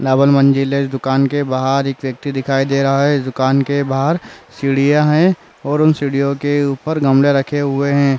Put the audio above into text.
Double मंज़िले इस दुकान के बाहर एक व्यक्ति दिखाई दे रहा है। इस दुकान के बाहर सीढ़ियाँ है और उस सीढ़ियों के ऊपर गमले रखे हुए हैं।